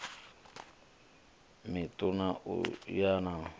miṋu na yo omaho na